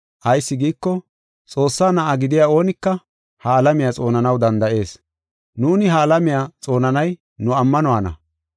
Ayis giiko, Xoossaa na7a gidiya oonika ha alamiya xoonanaw danda7ees. Nuuni ha alamiya xoonanay nu ammanuwana.